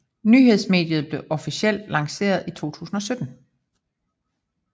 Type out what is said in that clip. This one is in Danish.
Nyhedsmediet blev officielt lanceret i 2017